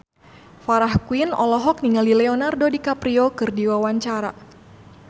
Farah Quinn olohok ningali Leonardo DiCaprio keur diwawancara